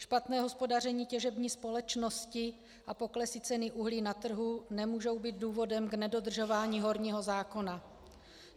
Špatné hospodaření těžební společnosti a poklesy ceny uhlí na trhu nemůžou být důvodem k nedodržování horního zákona.